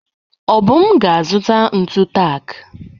Obum ga-azụta ntụ taak.